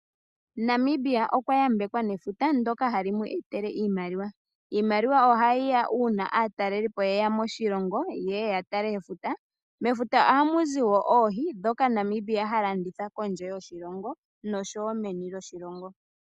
Namibia okwa yambekwa nefuta ndoka hali mu etele iimaliwa. Iimaliwa ohayiya uina aatalelipo yeya moshilongo yeye yatale efuta. Mefuta ohamuzi woo oohi ndhoka Namibia ha landitha kondje yoshilongo noshowo meni lyoshilongo.